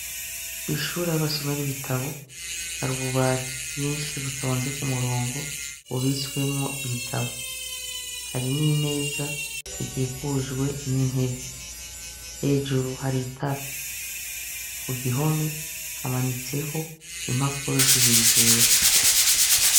Kw'ishure aho basomera ibitabo hari ububati bwinshi butonze ku murongo bubitswemwo ibitabo, hari n'imeza ikikujwe n'intebe, hejuru hari itara, ku gihome hamanitseho impapuro zibiri zera.